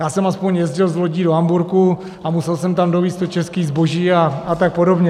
Já jsem aspoň jezdil s lodí do Hamburku a musel jsem tam dovézt to české zboží a tak podobně.